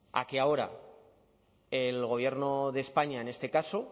a que ahora el gobierno de españa en este caso